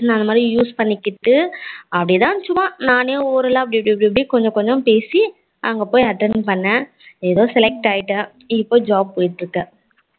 நா அந்த மாதிரி use பண்ணிக்கிட்டு அப்படித்தான் சும்மா நானே oral எல்லாம் அப்படியப்படி கொஞ்ச கொஞ்ச பேசி அங்க போய்ட்டு attend பன்னேன் ஏதோ select ஆகிட்டேன் இப்போ job போய்ட்டு இருக்கேன்